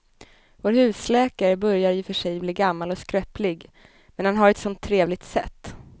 Vår husläkare börjar i och för sig bli gammal och skröplig, men han har ju ett sådant trevligt sätt!